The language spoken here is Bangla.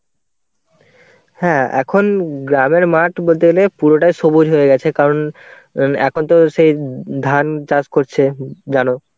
হ্যাঁ এখন গ্রামের মাঠ বলতে গেলে পুরোটাই সবুজ হয়ে গেছে. কারণ এখন তো সেই ধান চাষ করছে জানো.